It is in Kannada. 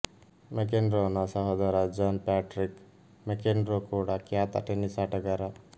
ಮೆಕೆನ್ರೊನ ಸಹೋದರ ಜಾನ್ ಪ್ಯಾಟ್ರಿಕ್ ಮೆಕೆನ್ರೊ ಕೂಡ ಖ್ಯಾತ ಟೆನಿಸ್ ಆಟಗಾರ